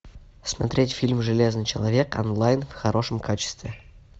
смотреть фильм железный человек онлайн в хорошем качестве